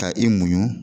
Ka i muɲu